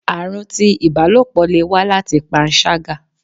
arun tí ibálopọ le wa láti panṣaga